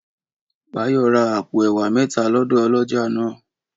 Báyọ̀ ra àpò ẹ̀wà mẹ́ta lọ́dọ̀ ọlọ́jà náà